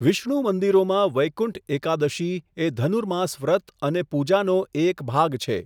વિષ્ણુ મંદિરોમાં, વૈકુંઠ એકાદશી એ ધનુર્માસ વ્રત અને પૂજાનો એક ભાગ છે.